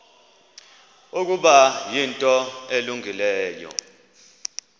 ukuba yinto elungileyo